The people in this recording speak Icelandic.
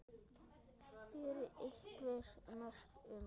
Eru einhver merki um það?